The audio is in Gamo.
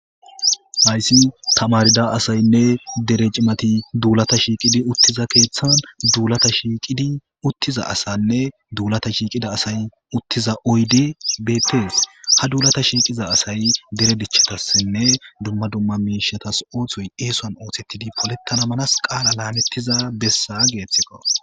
hayssi tamarida asaynne dere cimati duulata shiiqidi uttiza keeththan duulata shiiqidi uttiza asanne duulata shiiqida asay uttiza oyde betees ha duulata shiiqiza asay dere dichatassenne dumma dumma miishatas ooththoy eesoan oothettidi polettana manas qaala laanettiza bessa geeththiko